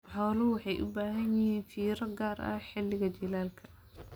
Xooluhu waxay u baahan yihiin fiiro gaar ah xilliga jiilaalka.